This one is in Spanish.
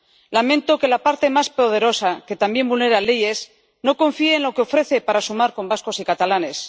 Lamento que la parte más poderosa, que también vulnera leyes, no confíe en lo que ofrece para sumar con vascos y catalanes.